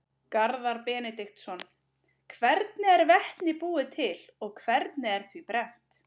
Garðar Benediktsson: Hvernig er vetni búið til og hvernig er því brennt?